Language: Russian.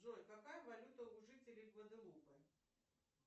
джой какая валюта у жителей гваделупы